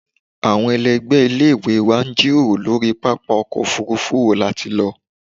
Awọn ẹlẹgbẹ ile-iwe wa n jiroro lori papa ọkọ ofurufu wo lati Lọ